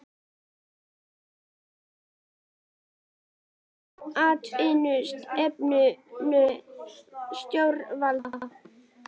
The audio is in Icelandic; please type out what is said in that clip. Kristján: Hvað finnst þér um atvinnustefnu stjórnvalda?